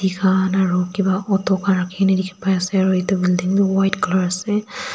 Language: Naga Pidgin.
han aro kipa auto khan rakhina dikhipaiase aru edu building bi white colour ase.